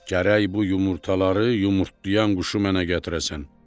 Gərək bu yumurtaları yumurtlayan quşu mənə gətirəsən.